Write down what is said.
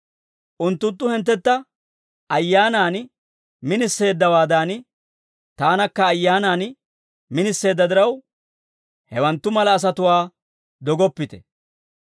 Unttunttu hinttentta ayyaanan miniseeddawaadan, taanakka ayyaanan miniseedda diraw, hewanttu mala asatuwaa dogoppite.